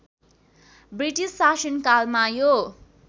British शासनकालमा यो